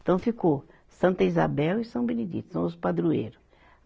Então ficou, Santa Isabel e São Benedito, são os padroeiro.